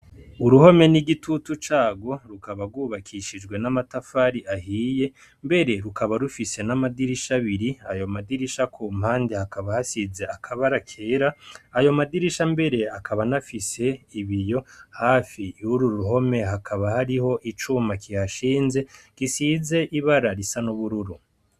Uruhome n'igitutu cagwo rukaba rwubakishijwe n'amatafari ahiye mbere rukaba rufise n'amadirisha abiri ayo madirisha ku mpande hakaba hasize akabara kera ayo madirisha mbere akaba n'afise ibiyo hafi yururuhome hakaba hariho icuma kihashinze gisize ibara risa n'ubururu.